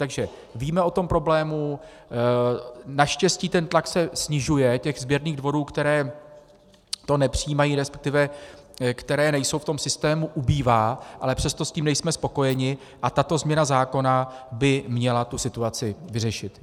Takže víme o tom problému, naštěstí ten tlak se snižuje, těch sběrných dvorů, které to nepřijímají, respektive které nejsou v tom systému, ubývá, ale přesto s tím nejsme spokojeni a tato změna zákona by měla tu situaci vyřešit.